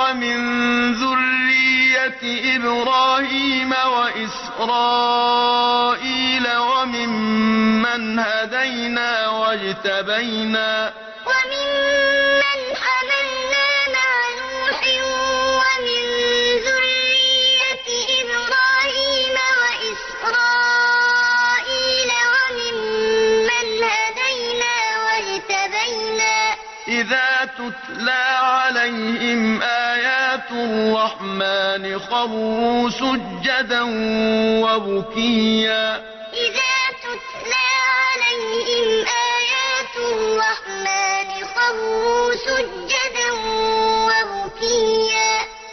وَمِن ذُرِّيَّةِ إِبْرَاهِيمَ وَإِسْرَائِيلَ وَمِمَّنْ هَدَيْنَا وَاجْتَبَيْنَا ۚ إِذَا تُتْلَىٰ عَلَيْهِمْ آيَاتُ الرَّحْمَٰنِ خَرُّوا سُجَّدًا وَبُكِيًّا ۩ أُولَٰئِكَ الَّذِينَ أَنْعَمَ اللَّهُ عَلَيْهِم مِّنَ النَّبِيِّينَ مِن ذُرِّيَّةِ آدَمَ وَمِمَّنْ حَمَلْنَا مَعَ نُوحٍ وَمِن ذُرِّيَّةِ إِبْرَاهِيمَ وَإِسْرَائِيلَ وَمِمَّنْ هَدَيْنَا وَاجْتَبَيْنَا ۚ إِذَا تُتْلَىٰ عَلَيْهِمْ آيَاتُ الرَّحْمَٰنِ خَرُّوا سُجَّدًا وَبُكِيًّا ۩